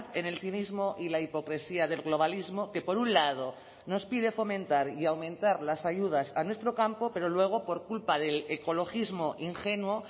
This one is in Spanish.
en el cinismo y la hipocresía del globalismo que por un lado nos pide fomentar y aumentar las ayudas a nuestro campo pero luego por culpa del ecologismo ingenuo